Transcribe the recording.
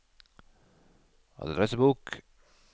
adressebok